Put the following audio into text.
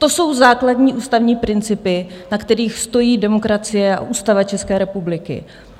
To jsou základní ústavní principy, na kterých stojí demokracie a Ústava České republiky.